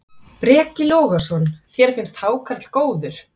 Breki Logason: Þér finnst hákarl góður?